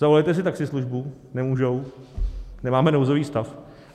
Zavolejte si taxislužbu, nemůžou, nemáme nouzový stav.